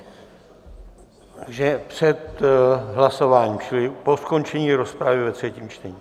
Takže před hlasováním čili po skončení rozpravy ve třetím čtení.